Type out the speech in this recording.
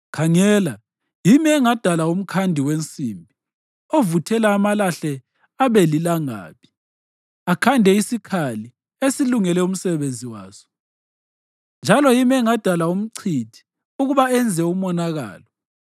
“Khangela, yimi engadala umkhandi wensimbi ovuthela amalahle abe lilangabi, akhande isikhali esilungele umsebenzi waso. Njalo yimi engadala umchithi ukuba enze umonakalo;